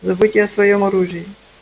забудьте о своём оружии